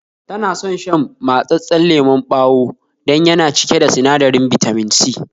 Tana son shan mattsasan lemon bawa dan yana cike da sinadarin Bitamin C